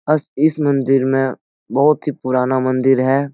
बस इस मंदिर में बहुत ही पुरान मंदिर है।